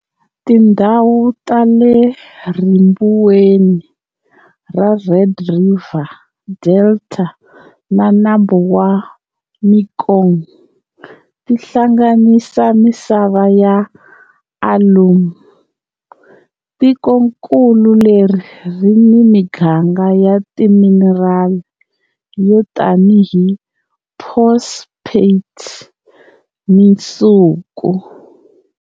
Tindhawu ta le ribuweni ra Red River Delta na Nambu wa Mekong ti hlanganisa misava ya alum. Tikonkulu leri ri ni miganga ya timinerali yo tanihi phosphate ni nsuku.